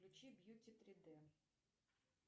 включи бьюти три д